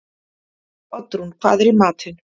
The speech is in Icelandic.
Oddrún, hvað er í matinn?